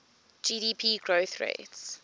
gdp growth rates